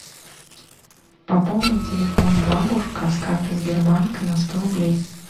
пополни телефон бабушка с карты сбербанка на сто рублей